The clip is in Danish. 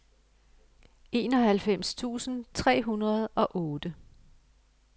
enoghalvfems tusind tre hundrede og otte